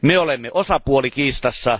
Me olemme osapuoli kiistassa.